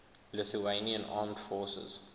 lithuanian armed forces